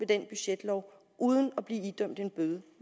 den budgetlov uden at blive idømt en bøde